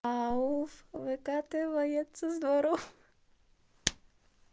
ауф выкатывает со дворов